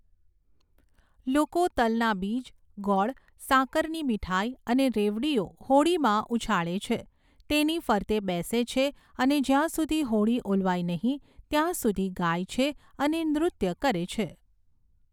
લોકો તલના બીજ, ગોળ, સાકરની મીઠાઈ અને રેવડીઓ હોળીમાં ઉછાળે છે, તેની ફરતે બેસે છે અને જ્યાં સુધી હોળી ઓલવાય નહીં ત્યાં સુધી ગાય છે અને નૃત્ય કરે છે.